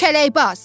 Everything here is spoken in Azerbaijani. Kələkbaz.